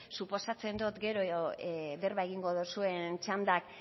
suposatzen dot gero berba egingo duzuen txandak